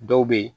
Dɔw bɛ yen